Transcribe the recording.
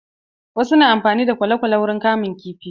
Wasu na amfani da kwale-kwale wurin kamun kifi.